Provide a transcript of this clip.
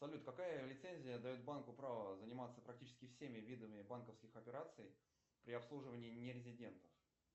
салют какая лицензия дает банку право заниматься практически всеми видами банковских операций при обслуживании нерезидентов